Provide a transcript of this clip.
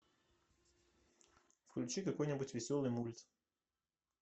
включи какой нибудь веселый мульт